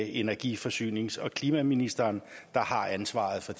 energi forsynings og klimaministeren der har ansvaret for